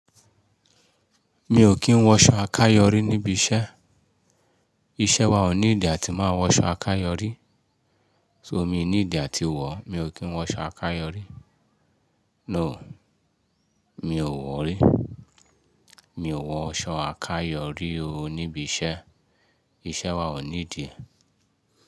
Mi ò kí ń wọṣọ akáyọrí níbi iṣẹ́. Iṣẹ́ wa ò need a tí máa wọ aṣọ akáyọrí. So mi need a tí wọ̀, mi ò kí ń wọ aṣọ akáyọrí. No, mi ò wọ̀rí. Mi ò wọ aṣọ akáyọrí o níbi iṣẹ́. Iṣẹ́ wa ò need e.